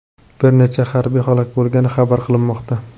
Bir necha harbiy halok bo‘lgani xabar qilinmoqda.